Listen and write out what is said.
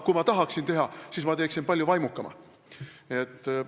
Kui ma tahaksin seda teha, siis ma teeksin palju vaimukamalt.